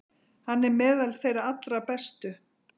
Hann er meðal þeirra allra bestu.